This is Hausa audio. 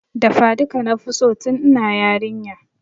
Dafa duka nafi so tun ina yarinya